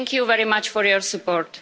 Thank you very much for your support.